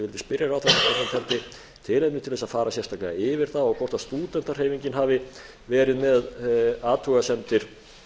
spyrja ráðherrann hvort hann teldi tilefni til þess að fara sérstaklega yfir það og hvort stúdentahreyfingin hafi verið með athugasemdir